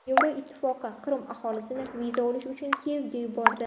Yevropa Ittifoqi Qrim aholisini viza olish uchun Kiyevga yubordi.